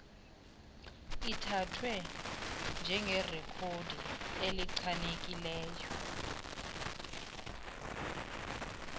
ithathwe njengerekhodi elichanekileyo